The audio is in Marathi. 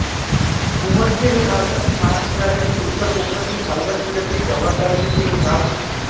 उंबरखेड हे भारतातील महाराष्ट्र राज्यातील उत्तर कोकणातील पालघर जिल्ह्यातील जव्हार तालुक्यातील एक गाव आहे